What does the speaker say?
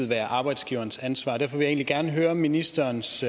være arbejdsgivernes ansvar og derfor egentlig gerne høre ministerens